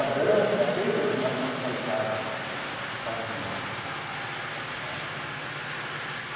A dança tem uma sensualidade sadia tá.